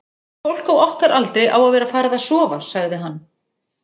fólk á okkar aldri á að vera farið að sofa, sagði hann.